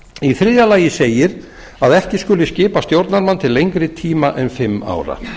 í þriðja lagi segir að ekki skuli skipa stjórnarmann til lengri tíma en fimm ára